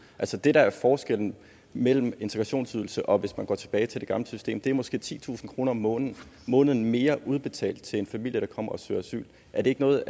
asyl det der er forskellen mellem integrationsydelsen og at gå tilbage til det gamle system er måske titusind kroner om måneden måneden mere udbetalt til en familie der kommer og søger asyl er det ikke noget